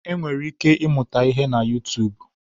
E nwere ike ị mụta ihe na Utuubu.